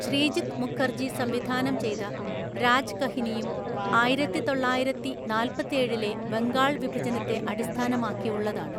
ശ്രീജിത് മുഖർജി സംവിധാനം ചെയ്ത രാജ്കഹിനിയും ആയിരത്തിതൊള്ളായിരത്തിനാല്‍പ്പത്തേഴിലെ ബംഗാൾ വിഭജനത്തെ അടിസ്ഥാനമാക്കിയുള്ളതാണ്.